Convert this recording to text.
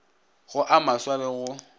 go a maswa le go